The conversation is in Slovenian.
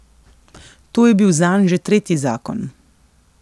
To je bil zanj že tretji zakon.